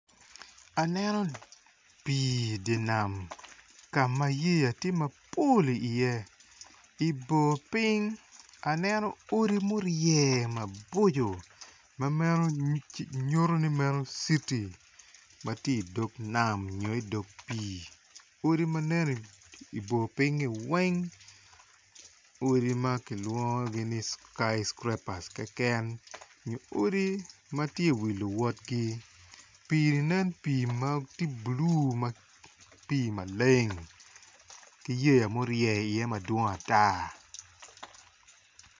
Aneno pii dye nam ka ma yeya tye mapol iye i bor piny aneno odi tye ma orye mapol adada ma meno nyuto ni citi ma tye i dog nam nyo dog pii odi ma nen i bor pinyi weng obedo odi ma kilwongogi ni skycrapers ekeken.